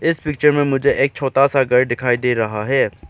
इस पिक्चर में मुझे एक छोटा सा घर दिखाई दे रहा है।